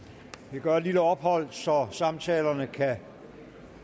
vi gør et lille ophold så samtalerne kan